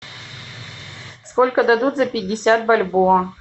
сколько дадут за пятьдесят бальбоа